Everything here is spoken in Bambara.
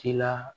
Ci la